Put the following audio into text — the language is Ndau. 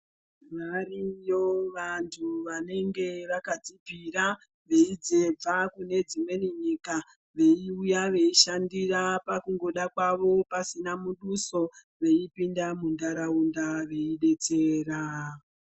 Variyo vanhu vanenge vakadzipira veibva kunedzimwe nyika veiuya veishandira pakungoda kwavo pasina muduso veipinda munharaunda veidetsera.